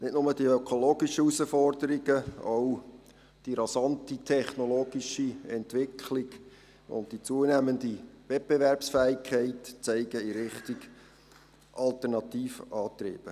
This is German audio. Nicht nur die ökologischen Herausforderungen, sondern auch die rasante technologische Entwicklung und die zunehmende Wettbewerbsfähigkeit zeigen in Richtung Alternativantriebe.